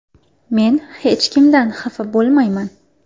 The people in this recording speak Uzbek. Men hech kimdan xafa bo‘lmayman.